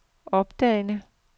opdagede